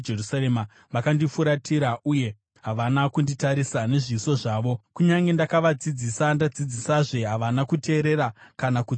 Vakandifuratira uye havana kunditarisa nezviso zvavo; kunyange ndakavadzidzisa ndadzidzisazve, havana kuteerera kana kutsiurika.